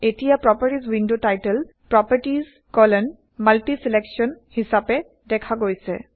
এতিয়া properties window title PropertiesMultiSelection হিচাপে দেখা গৈছে